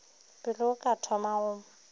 pele o ka thoma go